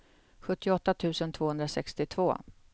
tjugoåtta tusen tvåhundrasextiotvå